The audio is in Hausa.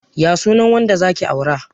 Ya sunan wanda zaki aura?